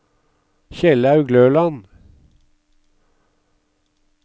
Kjellaug Løland